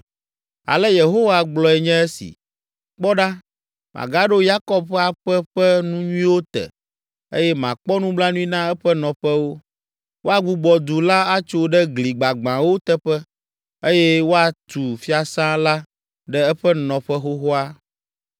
“Ale Yehowa gblɔe nye esi: “ ‘Kpɔ ɖa, magaɖo Yakob ƒe aƒe ƒe nu nyuiwo te eye makpɔ nublanui na eƒe nɔƒewo; woagbugbɔ du la atso ɖe gli gbagbãwo teƒe eye woatu fiasã la ɖe eƒe nɔƒe xoxoa.